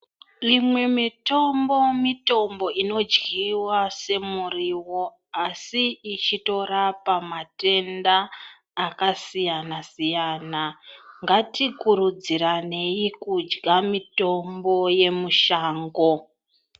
Imwe mitombo mitombo inodyiwa se muriwo asi ichito rapa matenda aka siyana siyana ngati kurudziraneyi kudya mitombo ye mushango.